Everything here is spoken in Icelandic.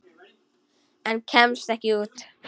En kemst ekki út.